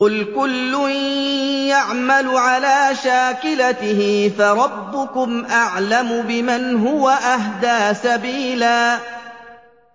قُلْ كُلٌّ يَعْمَلُ عَلَىٰ شَاكِلَتِهِ فَرَبُّكُمْ أَعْلَمُ بِمَنْ هُوَ أَهْدَىٰ سَبِيلًا